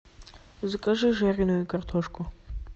закажи жареную картошку